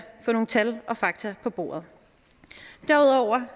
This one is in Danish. få nogle tal og fakta på bordet derudover